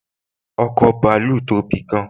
ọkọ̀ bàálù tóbi gán